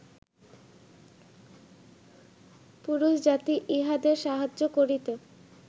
পুরুষজাতি ইহাদের সাহায্য করিতে